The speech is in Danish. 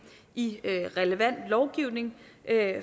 i relevant lovgivning